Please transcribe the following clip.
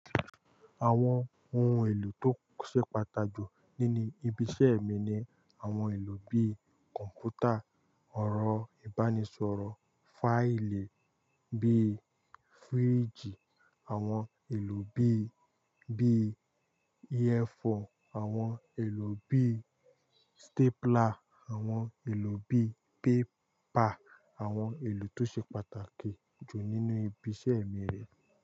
Àwọn ohun èlò tó ṣe pàtàjù nínú ibi iṣẹ́ mi ni àwọn èlò bí kọ̀npútà, ọ̀rọ̀ ìbánisọ̀rọ̀ fáìlì bí fíríìjì, àwọn èlò bí i bí A4, àwọn èlò bí stápùlà, àwọn èlò bí paper, àwọn ohun èlò tó ṣe pàtàkì jù nínú ibi iṣẹ́ mi rí.